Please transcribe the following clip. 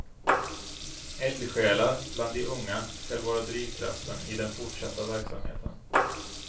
Eldsjälar bland de unga skall vara drivkraften i den fortsatta verksamheten.